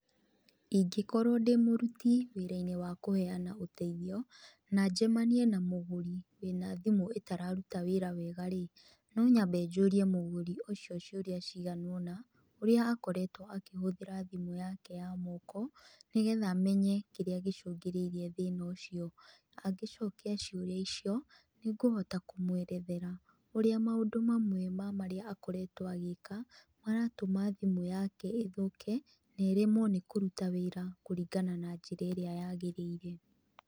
Ingĩkorwo ndĩmũruti wirwinĩ wa kũheana ũteithio, na njemanie na mũgũri wina thimũ ĩtararuta wĩra wega rĩ, no nyambe njũrie mũgũri ũcio ciũria cigana ũna, ũrĩa akoretwo akĩhũthĩra thimũ yake ya moko, nĩgetha menye kĩrĩa gĩcũngĩrĩirie thĩna ũcio. Angĩcokia ciũria icio, nĩngũhota kũmwerethera ũrĩa maũndũ mamwe ma marĩa akoretwo agĩĩka, maratũma thimũ yake ĩthũke, na ĩremwo nĩ kũruta wĩra kũringana na njĩra ĩrĩa yagĩrĩire.